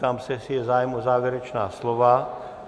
Ptám se, jestli je zájem o závěrečná slova.